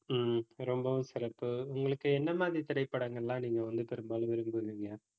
ஹம் ரொம்பவும் சிறப்பு உங்களுக்கு என்ன மாதிரி திரைப்படங்கள் எல்லாம், நீங்க வந்து பெரும்பாலும் விரும்புவீங்க